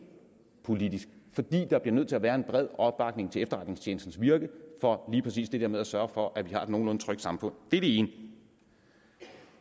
politisk fordi der bliver nødt til at være en bred opbakning til efterretningstjenestens virke for lige præcis det der med at sørge for at vi har et nogenlunde trygt samfund det er det ene